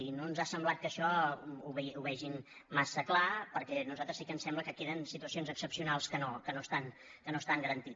i no ens ha semblat que això ho vegin massa clar perquè a nosaltres sí que ens sembla que queden situacions excepcionals que no estan garantides